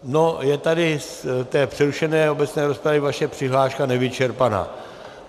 No, je tady z té přerušené obecné rozpravy vaše přihláška nevyčerpaná.